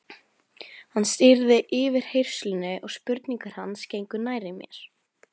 Hann stýrði yfirheyrslunni og spurningar hans gengu nærri mér.